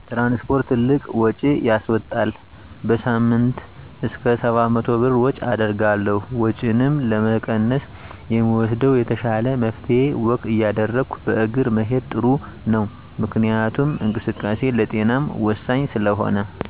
ትራንስፖርት ትልቅ ውጭ ያስዎጣል። በሳምንይ እስከ 700 ብር ወጭ አደርጋለሁ። ወጭንም ለመቀነስ የምወስደው የተሻለው መፍትሄ ወክ እያደረጉ በእግር መሄድ ጥሩ ነው። ምክንያቱም እንቅስቃሴ ለጤናም ወሳኝ ስለሆነ።